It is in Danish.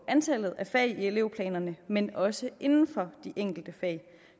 antallet af fag i elevplanerne men også inden for de enkelte fag